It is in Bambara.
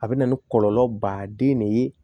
A bɛ na ni kɔlɔlɔ baden ne ye